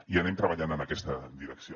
i anem treballant en aquesta direcció